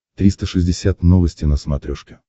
триста шестьдесят новости на смотрешке